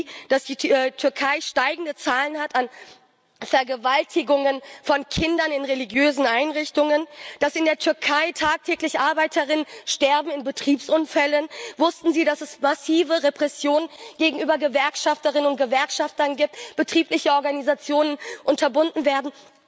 Wussten Sie, dass die Türkei steigende Zahlen an Vergewaltigungen von Kindern in religiösen Einrichtungen hat, dass in der Türkei tagtäglich ArbeiterInnen bei Betriebsunfällen sterben? Wussten Sie, dass es massive Repressionen gegenüber Gewerkschafterinnen und Gewerkschaftern gibt, betriebliche Organisationen unterbunden werden?